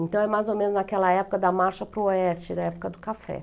Então é mais ou menos naquela época da marcha para o oeste, da época do café.